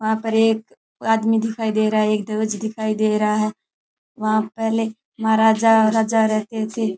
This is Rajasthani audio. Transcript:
वहां पर एक आदमी दिखाई दे रहा है एक ध्वज दिखाई दे रहा है वहां पहले महाराजा और राजा रहते थे।